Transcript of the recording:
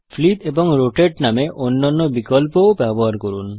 flip এবং rotate নামে অন্যান্য বিকল্পও ব্যবহার করুন